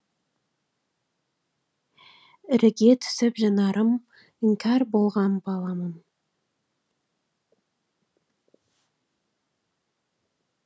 іріге түсіп жанарым іңкәр болған баламын